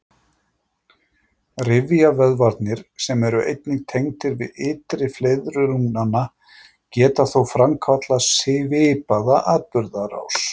Rifjavöðvarnir, sem eru einnig tengdir við ytri fleiðru lungnanna, geta þó framkallað svipaða atburðarás.